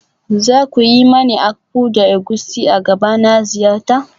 Za ku yi mani akpu da egusi a gaba na ziyarta?